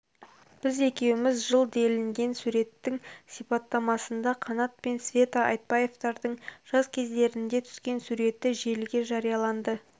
біз екеуміз жыл делінген суреттің сипаттамасында қанат пен света айтбаевтардың жас кездерінде түскен суреті желіге жарияланды